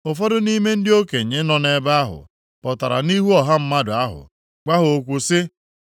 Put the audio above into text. Ụfọdụ nʼime ndị okenye nọ nʼebe ahụ pụtara nʼihu ọha mmadụ ahụ gwa ha okwu sị,